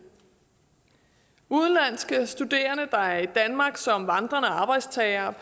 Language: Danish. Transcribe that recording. udenlandske studerende der er i danmark som vandrende arbejdstagere